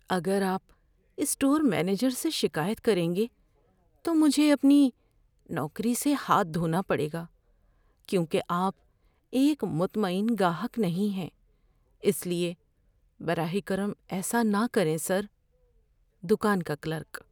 اگر آپ store manager سے شکایت کریں گے تو مجھے اپنی نوکری سے ہاتھ دھونا پڑے گا کیونکہ آپ ایک مطمئن گاہک نہیں ہیں، اس لیے براہ کرم ایسا نہ کریں، سر۔ (دوکان کا کلرک)